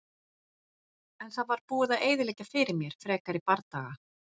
En það var búið að eyðileggja fyrir mér frekari bardaga.